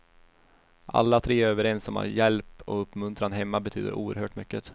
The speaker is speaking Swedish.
Alla tre är överens om att hjälp och uppmuntran hemma betyder oerhört mycket.